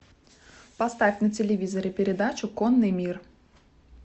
поставь на телевизоре передачу конный мир